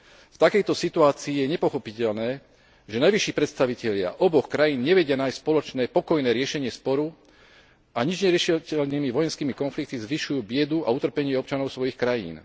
V takejto situácii je nepochopiteľné, že najvyšší predstavitelia oboch krajín nevedia nájsť spoločné pokojné riešenie sporu a nič neriešiteľnými vojenskými konfliktami zvyšujú biedu a utrpenie občanov svojich krajín.